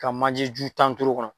Ka manje ju tan turu o kɔnɔ.